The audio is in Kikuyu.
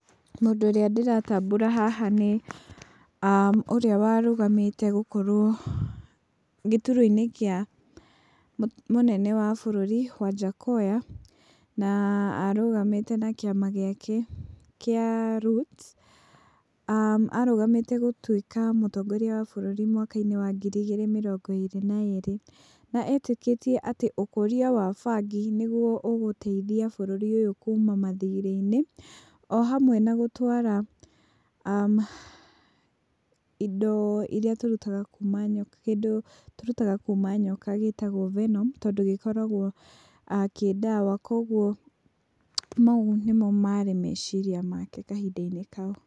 Mũndũ ũrĩa ndĩratambũra haha nĩ, ũrĩa warũgamĩte gũkorwo, gĩturua-inĩ kĩa mũnene wa bũrũri Wajakoya. Na arũgamĩte na kĩama gĩake kĩa Roots. Arũgamĩte gũtuika mũtongoria wa bũrũri mwaka-inĩ wa ngiri igĩrĩ mĩrongo ĩrĩ na ĩrĩ na etĩkĩtie ũkũria wa bangi nĩguo ũgũteithia bũrũri ũyũ kuma mathirĩ-inĩ.O hamwe na gũtwara, indo iria tũrutaga kuma nyoka, kĩndũ kĩrĩa tũrutaga kuma nyoka gĩtagwo venom tondũ gĩkoragwo kĩ ndawa. Koguo mau nĩmo marĩ meciria make kahinda-inĩ kau.